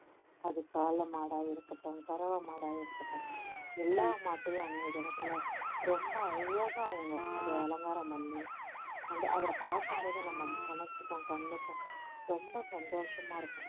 அது காளை மாடா இருக்கட்டும் கறவை மாட இருக்கட்டும் எல்லா மாட்டயும் அன்னைய தினத்துல ரொம்ப அழகா அவங்க அதை அலங்காரம் பண்ணி அந்த அதை பாக்கும்போதே நம்ம மனசுக்கும் கண்ணுக்கும் ரொம்ப சந்தோஷமா இருக்கும்